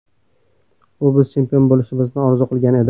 U biz chempion bo‘lishimizni orzu qilgan edi.